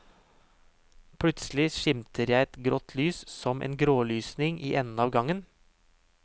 Plutselig skimter jeg et grått lys, som en grålysning, i enden av gangen.